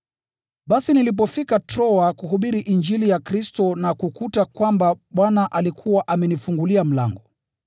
Basi nilipofika Troa kuhubiri Injili ya Kristo na kukuta kwamba Bwana alikuwa amenifungulia mlango,